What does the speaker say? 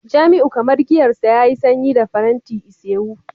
jamiu kamar giyar sa yayi sanyi da faranti isewu